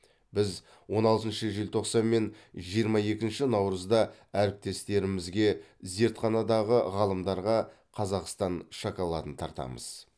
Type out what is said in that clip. біз он алтыншы желтоқсан мен жиырма екінші наурызда әріптестерімізге зертханадағы ғалымдарға қазақстан шоколадын тартамыз